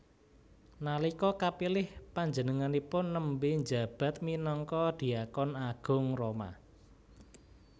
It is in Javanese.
Nalika kapilih panjenenganipun nembé njabat minangka dhiakon agung Roma